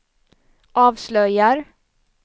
avslöjar